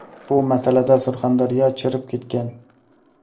Bu masalada Surxondaryo chirib ketgan.